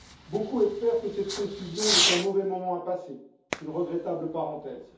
Beaucoup espèrent que cette confusion n'est qu'un mauvais moment à passer, qu'une regrettable parenthèse.